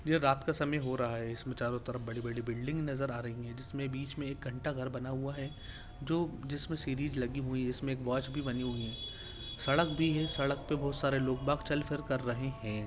ये रात का समय हो रहा है इसमें चारों तरफ बड़ी-बड़ी बिल्डिंग नज़र आ रही हैं जिसमें बीच में एक घंटाघर बना हुआ है जो जिसमें से सीढ़ी लगी हुई है इसमें एक वॉच भी बनी हुई है सड़क भी है सड़क पर बहुत सारे लोग-बाग़ चल-फिर कर रहे हैं।